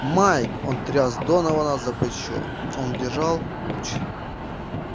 майк он тряс донована за плечо он держал луч